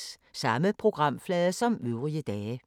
Samme programflade som øvrige dage